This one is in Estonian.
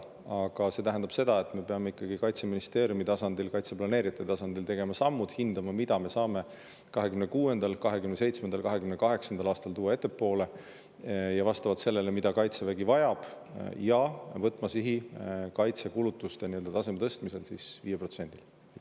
Aga see tähendab seda, et me peame Kaitseministeeriumi tasandil, kaitseplaneerijate tasandil tegema samme ja hindama, mida me saame 2026., 2027. ja 2028. aastal tuua ettepoole, vastavalt sellele, mida Kaitsevägi vajab, ning võtma sihi tõsta kaitsekulutuste tase 5%-ni.